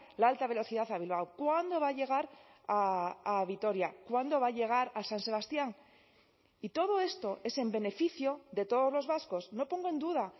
la alta velocidad a bilbao cuándo va a llegar a vitoria cuándo va a llegar a san sebastián y todo esto es en beneficio de todos los vascos no pongo en duda